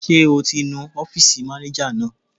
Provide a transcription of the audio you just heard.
Ṣé o ti nu ọ́fìsì mánéjà náà?